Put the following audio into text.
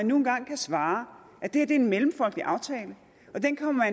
nu engang kan svare at det her er en mellemfolkelig aftale og at den kommer